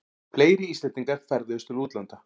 Fleiri Íslendingar ferðuðust til útlanda